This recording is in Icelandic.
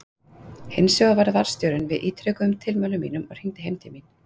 Hinsvegar varð varðstjórinn við ítrekuðum tilmælum mínum og hringdi heim til mín.